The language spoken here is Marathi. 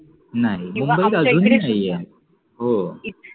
हम्म हो